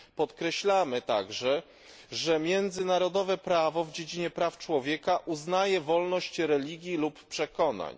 Podkreślamy także, że międzynarodowe prawo w dziedzinie praw człowieka uznaje wolność religii lub przekonań.